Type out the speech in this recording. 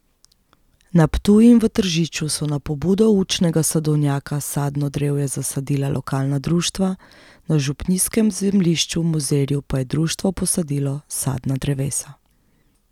Na Ptuju in v Tržiču so na pobudo Učnega sadovnjaka sadno drevje zasadila lokalna društva, na župnijskem zemljišču v Mozirju pa je društvo posadilo sadna drevesa.